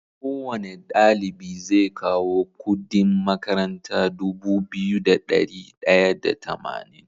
Kowane ɗalibi ze kawo Ƙudin makaranta Dubu biyu da dari daya da tamanin